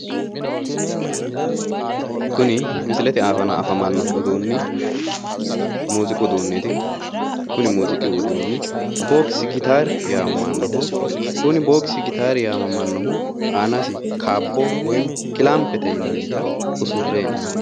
Kuni misilete aana afamanno uduunni muuziiqu uduunneeti. Kuni muuziiqu uduunni boksi gitaari yaamamannoho. Kuni boksi gitaari yaamamannohu aanasi kaabbo woyi kilaampete yinannita usurre hee'noonni.